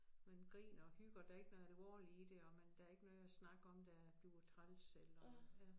Man griner og hygger der ikke noget alvorligt i det og man der ikke noget snak om der du var træls eller ja